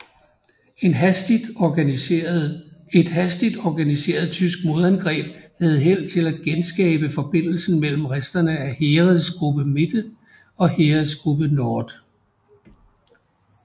Et hastigt organiseret tysk modangreb havde held til at genskabe forbindelsen mellem resterne af Heeresgruppe MItte og Heeresgruppe Nord